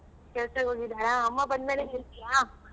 ಕೆಲ್ಸಕ್ಕೆ ಹೋಗಿದಾರ ಅಮ್ಮ ಬಂದ್ ಮೇಲೆ ಹೇಳ್ತಿಯ?